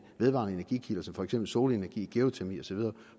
vedvarende energikilder som for eksempel solenergi geotermi osv